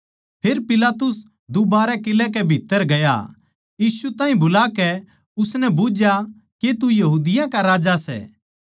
फेर पिलातुस दूबारै किलै कै भीत्त्तर गया यीशु ताहीं बुलाकै उसनै बुझ्झया के तू यहूदियाँ का राजा सै